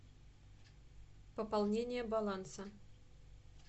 пополнение баланса